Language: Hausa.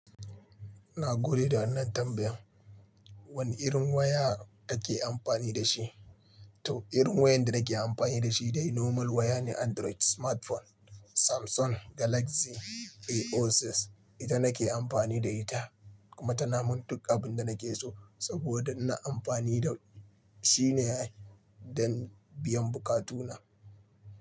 Na gode da wannan tambayan. Wane irin waya kake amfani da shi? To, irin wayar da nake amfani da shi dai normal waya ne Android smartphone Samsung Galaxy A06. Ita nake amfani da ita kuma tana min duk abin da nake so saboda ina amfani da shi ne don biyan bukatuna.